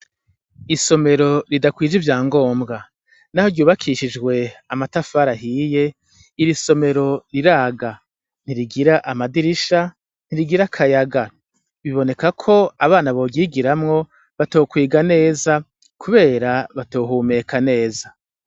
Isomero ridakwije ivya ngombwa. Naho ryubakishijwe amatafari ahiye, iri somero riraga. Ntirigira amadirisha, ntirigira akayaga. Biboneka ko abana boryigiramwo batokwiga neza kubera batohumeka neza.